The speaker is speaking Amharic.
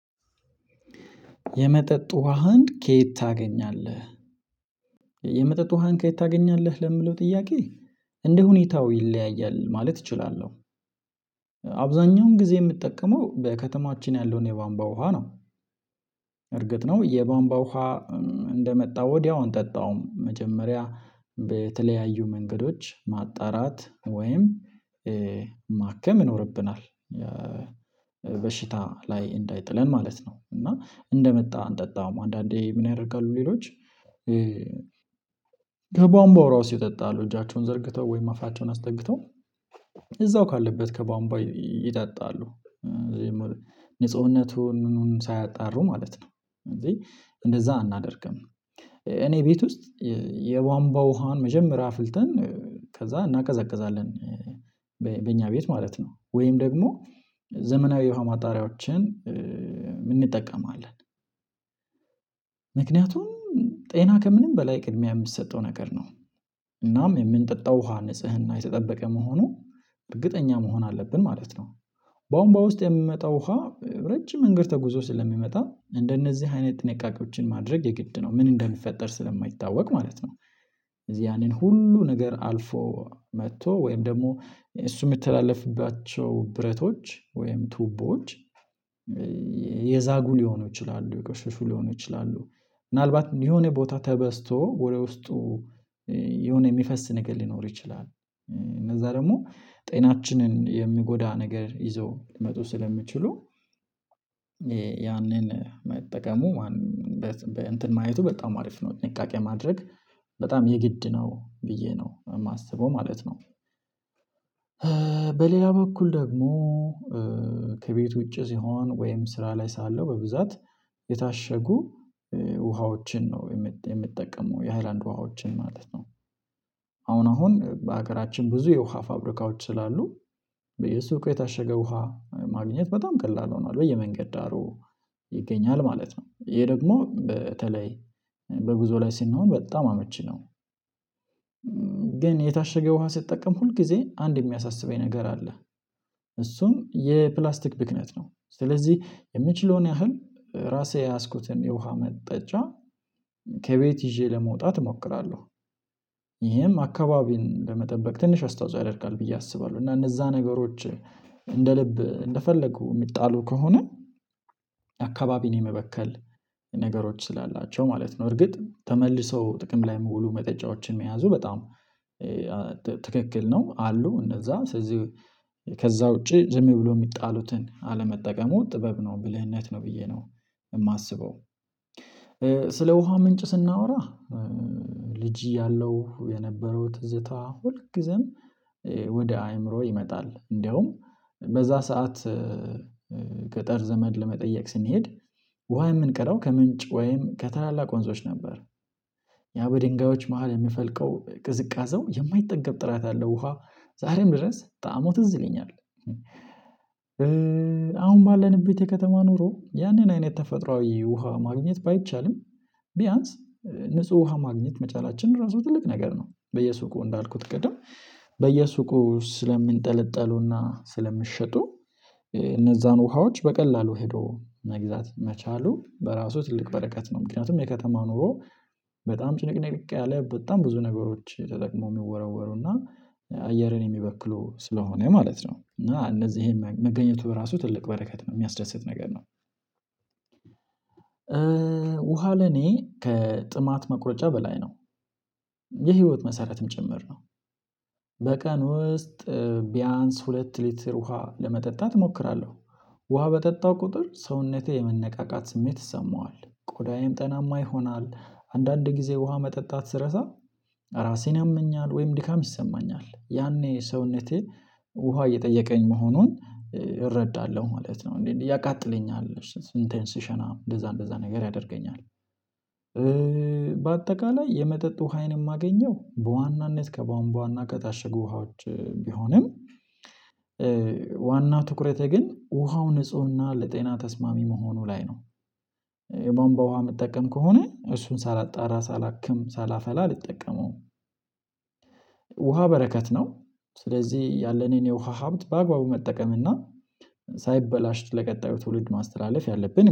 የመጠጥ ውሃን ከየት ታገኛለህ? የመጠጥ ውሃን ከየት ታገኛለህ ለምለው ጥያቄ እንደ ሁኔታው ይለያያል ማለት እችላለሁ አብዛኛውን ጊዜ የምትጠቀመው በከተማችን ያለውን የባንባ ውሃ ነው። እርግጥ ነው የባንባ ውሃ እንደመጣ ወዲያውኑ ጠጣው መጀመሪያ በተለያዩ መንገዶች ማጣራት ወይም ማከም ይኖርብናል በሽታ ላይ እንዳይጥለን ማለት ነው እና እንደመጣ እንጠጣው አንዳንዴ ምን ያደርጋሉ ሌሎች ከቧንቧው እራሱ ይጠጣሉ እጃቸውን ዘርግተው ወይም አፋቸውን አስጠግተው እዛው ካለበት ከባምባው ይጠጣሉ ንጽህነቱን ሳያጣሩ ማለት ነው እንዴ እንደዛ አናደርግም እኔ ቤት ውስጥ የቧንቧ ውሃን መጀመሪያ አፍልተን ከዛ እናቀዘቅዛለን ቤት ማለት ነው ወይም ደግሞ ዘመናዊ የውሃ ማጣሪያዎችን እንጠቀማለን ምክንያቱም ጤና ከምንም በላይ ቅድሚያ የምትሰጠው ነገር ነው እናም የምንጠጣው ውሃ ንጽህና የተጠበቀ መሆኑ እርግጠኛ መሆን አለብን ማለት ነው። ቧንቧው ውስጥ የሚመጣው ውሃ ረጅም መንግድ ተጉዞ ስለሚመጣ እንደነዚህ አይነት ጥንቃቄዎችን ማድረግ የግድ ነው ምን እንደሚፈጠር ስለማይታወቅ ማለት ነው እዚህ ያንን ሁሉ ነገር አልፎ መጥቶ ወይም ደግሞ እሱ የምትተላለፍባቸው ብረቶች ወይም ቱቦች የዛጉ ሊሆኑ ይችላሉ የቆሽሹ ሊሆኑ ይችላሉ ምናልባት የሆነ ቦታ ተበስቶ ወደ ውስጡ የሆነ የሚፈስ ነገር ሊኖር ይችላል እነዛ ደግሞ ጤናችንን የሚጎዳ ነገር ይዘው ሊመጡ ስለሚችሉ ያንን መጠቀሙ ማን እንትን ማየቱ በጣም አሪፍ ነው ጥንቃቄ ማድረግ በጣም የግድ ነው ብዬ ነው የማስበው ማለት ነው በኩል ደግሞ ከቤት ውጪ ሲሆን ወይም ስራ ላይ ሳለው በብዛት የታሸጉ ውሃዎችን ነው የምትጠቀሙ የሃይላንድ ውሃዎችን ማለት ነው አሁን በሀገራችን ብዙ የውሃ ፋብሪካዎች ስላሉ በየሱቁ የታሸገ ውሃ ማግኘት በጣም ቀላል ሆኗል በየመንገድ ዳሩ ይገኛል ማለት ነው ይሄ ደግሞ በተለይ በጉዞ ላይ ስንሆን በጣም አመቺ ነው ግን የታሸገ ውሃ ስትጠቀም ሁል ጊዜ አንድ የሚያሳስበኝ ነገር አለ እሱም የፕላስቲክ ብክነት ነው ስለዚህ የምችለውን ያህል ራሴ የያዝኩትን የውሃ መጠጫ ከቤት ይዤ ለመውጣት እሞክራለሁ ይሄም አካባቢን በመጠበቅ ትንሽ አስተዋጽኦ ያደርጋል ብዬ አስባለሁ እና እነዛ ነገሮች እንደ ልብ እንደፈለጉ የሚጣሉ ከሆነ አካባቢን የመበከል ነገሮች ስላላቸው ማለት ነው እርግጥ ተመልሰው ጥቅም ላይ መውሉ መጠጫዎችን መያዙ በጣም ቧንቧው ውስጥ የሚመጣው ውሃ ረጅም መንግድ ተጉዞ ስለሚመጣ እንደነዚህ አይነት ጥንቃቄዎችን ማድረግ የግድ ነው ምን እንደሚፈጠር ስለማይታወቅ ማለት ነው እዚህ ያንን ሁሉ ነገር አልፎ መጥቶ ወይም ደግሞ እሱ የምትተላለፍባቸው ብረቶች ወይም ቱቦች የዛጉ ሊሆኑ ይችላሉ የጎሽሽሉ ሊሆኑ ይችላሉ ምናልባት የሆነ ቦታ ተበስቶ ወሬ ውስጡ ዘመድ ለመጠየቅ ስንሄድ ወሃ የምንቀረው ከምንጭ ወይም ከታላላቅ ወንዞች ነበር ያው በድንጋዮች መሃል የሚፈልቀው ቅዝቃዜው የማይጠገብ ጥራት ያለው ውሃ ዛሬም ድረስ ጣዕሙ ትዝለኛለህ አሁን ባለንበት የከተማ ኑሮ ያንን አይነት ተፈጥሮአዊ ውሃ ማግኘት ባይቻልም ቢያንስ ንጹህ ውሃ ማግኘት መቻላችንን ራሱ ትልቅ ነገር ነው በየሱቁ እንዳልኩት ቅድም በየሱቁ ስለምንጠለጥሉና ስለምሸጡ እነዛን ውሃዎች በቀላሉ ሄዶ መግዛት መቻሉ በራሱ ትልቅ በረከት ነው ምክንያቱም የከተማ ኑሮ በጣም ጭንቅንቅ ያለ በጣም ብዙ ነገሮች ተጠቅመው የሚወረወሩና አየርን የሚበክሉ ስለሆነ ማለት ነው እና እነዚህ መገኘቱ በራሱ ትልቅ በረከት ነው የሚያስደስት ነገር ነው ውሃ ለኔ ከጥማት መቁረጫ በላይ ነው የህይወት መሰረትም ጭምር ነው በቀን ውስጥ ቢያንስ ሁለት ሊትር ውሃ ለመጠጣት እሞክራለሁ ውሃ በጠጣው ቁጥር ሰውነቴ የመነቃቃት ስሜት ይሰማዋል ቆዳዬም ጠናማ ይሆናል አንዳንድ ጊዜ ውሃ መጠጣት ስረሳ ራሴን ያመኛል ወይም ድካም ይሰማኛል ያኔ ሰውነቴ ውሃ እየጠየቀኝ መሆኑን እረዳለሁ ማለት ነው እንዴ ያቃጥለኛል ሽንቴን ሽሽና እንደዛ እንደዛ ነገር ያደርገኛል በአጠቃላይ የመጠጥ ውሃዬን የማገኘው በዋናነት ከባንቧና ከታሸጉ ውሃዎች ቢሆንም ዋና ትኩረቴ ግን ውሃው ንፁህና ለጤና ተስማሚ መሆኑ ላይ ነው የቧንቧ ውሃ የምጠቀም ከሆነ እሱን ሳላጣራ ሳላክም ሳላፈላ አልጠቀመውም ውሃ በረከት ነው ስለዚህ ያለኔን የውሃ ሀብት በአግባቡ መጠቀምና ሳይበላሽ ለቀጣዩ ትውልድ ማስተላለፍ ያለብን